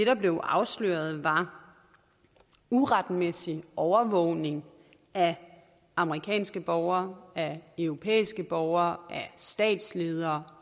der blev afsløret var uretmæssig overvågning af amerikanske borgere af europæiske borgere af statsledere